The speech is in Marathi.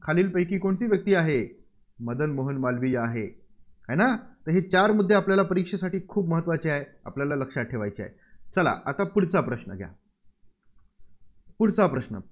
खालीलपैकी कोणती व्यक्ती आहे? मदन मोहन मालवीय आहे. आहे ना? आता हे चार मुद्दे आपल्याला परीक्षेसाठी खूप महत्त्वाचे आहेत. आपल्याला लक्षात ठेवायचे आहेत. चला आता पुढचा प्रश्न घ्या. पुढचा प्रश्न.